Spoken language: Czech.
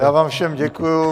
Já vám všem děkuji.